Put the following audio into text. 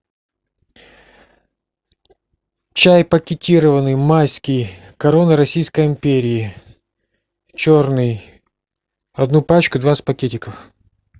чай пакетированный майский корона российской империи черный одну пачку двадцать пакетиков